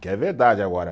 Que é verdade agora.